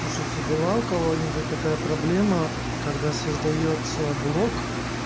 слушайте была у кого-нибудь такая проблема когда создаётся блок